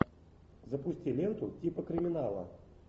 запусти ленту типа криминала